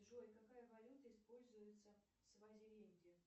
джой какая валюта используется в свазиленде